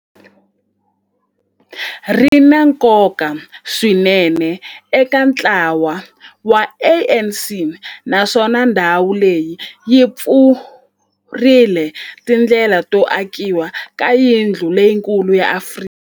ri na nkoka swinene eka ntlawa wa ANC, naswona ndhawu leyi yi pfurile tindlela to akiwa ka yindlu leyikulu ya Afrika